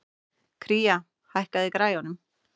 Kría, hækkaðu í græjunum.